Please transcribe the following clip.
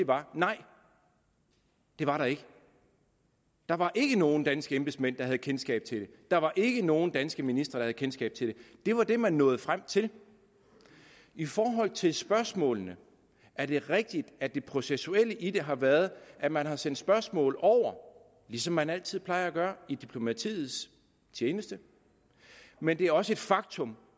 var nej det var der ikke der var ikke nogen danske embedsmænd der havde kendskab til det der var ikke nogen danske ministre der havde kendskab til det det var det man nåede frem til i forhold til spørgsmålene er det rigtigt at det processuelle i det har været at man har sendt spørgsmål over ligesom man altid plejer at gøre i diplomatiets tjeneste men det er også et faktum